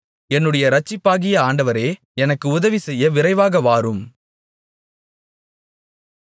என்னுடைய இரட்சிப்பாகிய ஆண்டவரே எனக்குச் உதவிசெய்ய விரைவாகவாரும்